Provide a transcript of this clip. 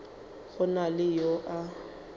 go na le yo a